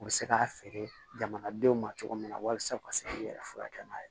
U bɛ se k'a feere jamanadenw ma cogo min na walasa u ka se k'i yɛrɛ furakɛ n'a ye